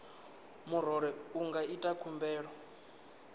murole i nga ita khumbelo